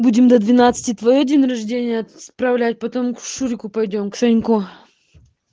будем до двенадцати твоё день рождения справлять потом к шурику пойдём к саньку